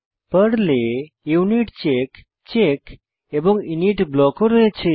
পর্লের unit check check এবং init block ও রয়েছে